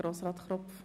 der BaK.